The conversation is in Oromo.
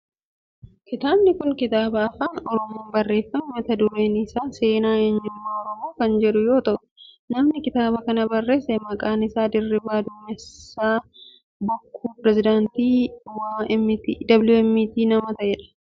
Kitaabni kun kitaaba afaan oromoon barreeffame mata dureen isaan seenaa eenyummaa oromoo kan jedhu yoo ta'u namni kitaaba kana barreesse maqaan isaa Dirribii Damusee Bokkuu pireesidaantii WMT nama ta'e dha.